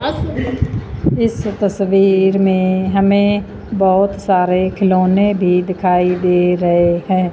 इस तस्वीर में हमें बहोत सारे खिलौने भी दिखाई दे रहे हैं।